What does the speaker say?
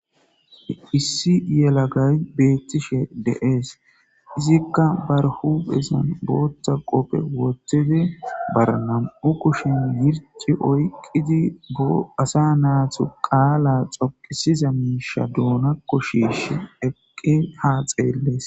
Issi yelagay beetishe de'es, izika barihuphezan bootha qope wothidi bare nam'u kushen mithi oykidi woyko asa natu qala xoqisiza miisha duunako shiishi eqin ha xeelesi.